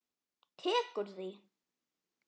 Tekur því?